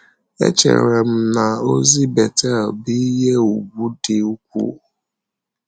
Echere m na ozi Betel bụ ihe ùgwù dị ukwuu